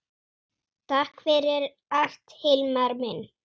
Takk fyrir allt Hilmar minn.